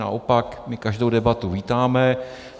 Naopak my každou debatu vítáme.